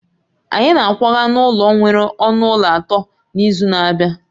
Anyị na-akwaga n'ụlọ nwere ọnụ ụlọ atọ n'izu na-abịa